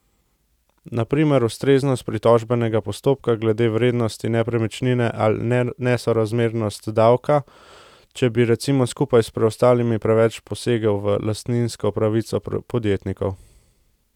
Na primer ustreznost pritožbenega postopka glede vrednosti nepremičnine ali nesorazmernost davka, če bi recimo skupaj s preostalimi preveč posegel v lastninsko pravico podjetnikov.